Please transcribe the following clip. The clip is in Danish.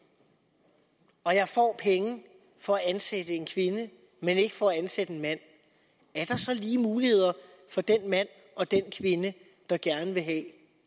og jeg får penge for at ansætte en kvinde men ikke for at ansætte en mand er der så lige muligheder for den mand og den kvinde der gerne vil have